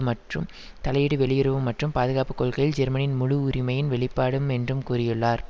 மற்றும் தலையீடு வெளியுறவு மற்றும் பாதுகாப்பு கொள்கையில் ஜெர்மனியின் முழு உரிமையின் வெளிப்பாடும் என்றும் கூறியுள்ளார்